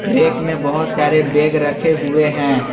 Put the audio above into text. एक में बहोत सारे बैग रखे हुए हैं।